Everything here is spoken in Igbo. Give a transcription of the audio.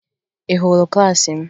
Ị hụrụ klaasị m?